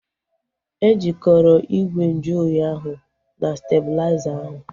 E jikọrọ ígwè nju oyi ahu na stebulaiza ahu